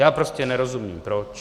Já prostě nerozumím proč.